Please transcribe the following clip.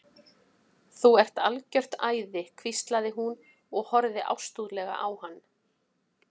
Þú ert algjört æði hvíslaði hún og horfði ástúðlega á hann.